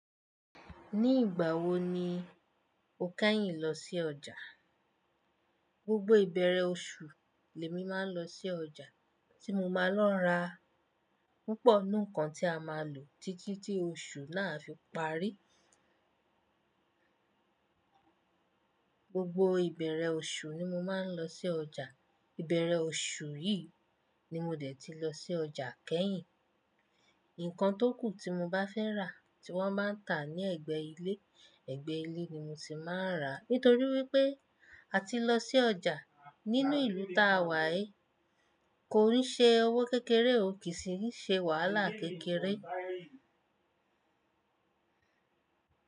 Ní ìgbà wo ni o kẹ́yìn lọ sí ọjà? Gbogbo ìbẹ̀rẹ̀ oṣù, ni èmi máa ń lọ sí ọjà tí mo máa lọ n ra púpọ̀ ninu ǹkan tí a máa lò títí tí oṣù náà a fi parí. Gbogbo ìbẹ̀rẹ̀ oṣù ni mo máa ń lọ sí ọjà. Ìbẹ̀rẹ̀ oṣù yìí ni mo dẹ̀ ti lọ sí ọjà kẹ́yìn. Ǹkan tó kù tí mo bá fẹ́ rà tí wọ́n bá ń tà ní ẹ̀gbẹ́ ilé, ẹ̀gbẹ́ ilé ni mo ti máa ń rà. Nítorí wípé a ti lọ sí ọjà nínú ìlú táa wà yi, kò ń ṣe owó kékeré, ò kì í ṣe wàhálà kékeré.